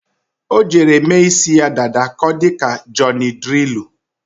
O jere mee ísí ya dada ka ọ dị ka nke Jọnị Drịlụ.